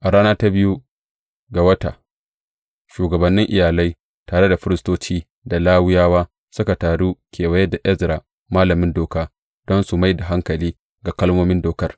A rana ta biyu ga wata, shugabannin iyalai, tare da firistoci da Lawiyawa, suka taru kewaye da Ezra malamin Doka don su mai da hankali ga kalmomin Dokar.